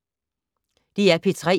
DR P3